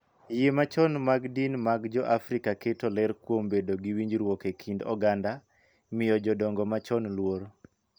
Yie machon mag din mag Joafrika keto ler kuom bedo gi winjruok e kind oganda, miyo jodongo machon luor,